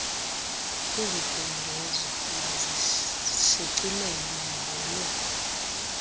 izibhengezo mazishicilelwe ngolo